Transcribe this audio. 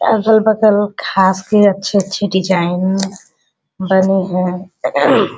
अगल-बगल घास के अच्छे-अच्छे डिजाइन बने हैं।